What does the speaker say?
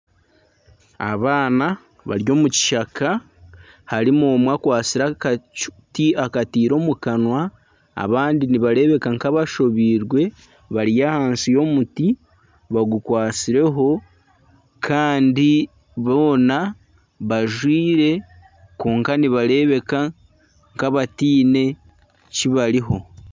Abaana bari omu kishaka. Harimu omwe akwatsire akati akitiire omu kanwa. Abandi nibarebeka nka abashobiirwe bari ahansi y'omuti bagukwatsire ho kandi boona bajwire kwonka niharebeka nk'abateine kibariho.